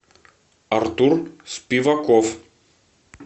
артур спиваков